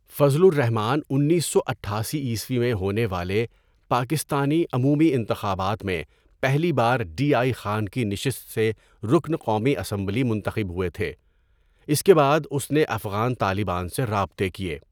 فضل الرحمٰن اُنیسو اٹھاسیء میں ہونے والے پاکستانی عمومی انتخابات میں پہلی بار ڈی آئی خان کی نشست سے رکن قومی اسمبلی منتخب ہوئے تھے اس کے بعد اس نے افغان طالبان سے رابطے کیے.